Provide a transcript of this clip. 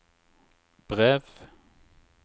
brev